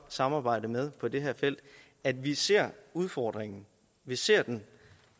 samarbejde med på det her felt at vi ser udfordringen vi ser den